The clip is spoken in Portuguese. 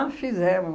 fizemos.